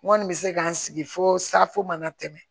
N kɔni bɛ se ka n sigi fo safo mana tɛmɛ